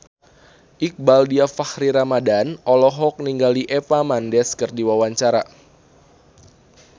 Iqbaal Dhiafakhri Ramadhan olohok ningali Eva Mendes keur diwawancara